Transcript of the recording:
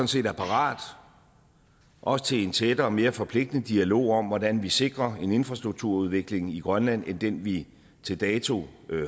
set er parat også til en tættere og mere forpligtende dialog om hvordan vi sikrer en anden infrastrukturudvikling i grønland end den vi til dato